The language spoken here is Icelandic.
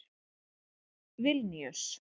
Vilníus